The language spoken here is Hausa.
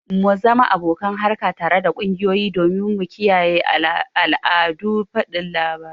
mu zama abokan harka tare da kungiyoyi domin mu kiyaye al'adun fadin labarai